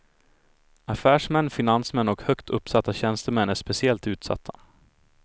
Affärsmän, finansmän och högt uppsatta tjänstemän är speciellt utsatta.